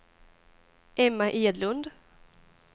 Emma Edlund